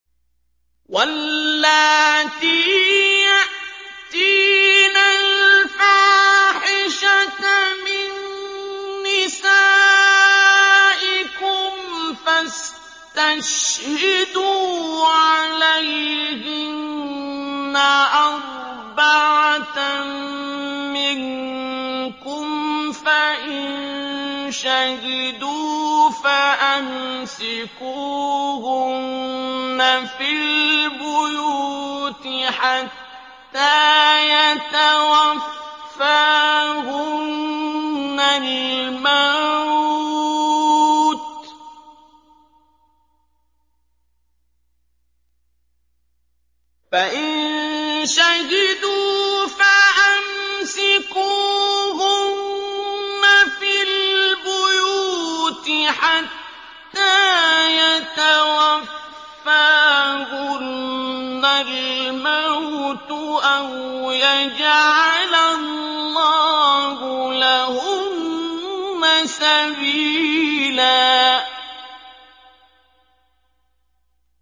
وَاللَّاتِي يَأْتِينَ الْفَاحِشَةَ مِن نِّسَائِكُمْ فَاسْتَشْهِدُوا عَلَيْهِنَّ أَرْبَعَةً مِّنكُمْ ۖ فَإِن شَهِدُوا فَأَمْسِكُوهُنَّ فِي الْبُيُوتِ حَتَّىٰ يَتَوَفَّاهُنَّ الْمَوْتُ أَوْ يَجْعَلَ اللَّهُ لَهُنَّ سَبِيلًا